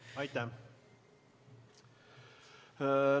Aitäh!